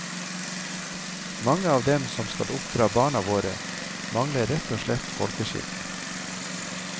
Mange av dem som skal oppdra barna våre, mangler rett og slett folkeskikk.